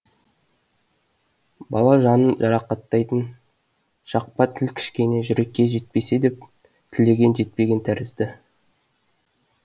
бала жанын жарақаттайтын шақпа тіл кішкене жүрекке жетпесе деп тілеген жетпеген тәрізді